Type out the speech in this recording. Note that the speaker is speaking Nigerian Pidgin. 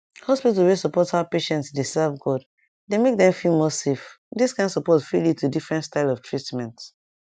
hospital wey support how patient dey serve god dey make dem feel more safe this kind support fit lead to different style of treatment